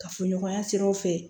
Kafoɲɔgɔnya siraw fɛ